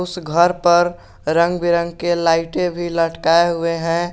ये एक योगा है योगा बच्चों को सिखाई जा रही है।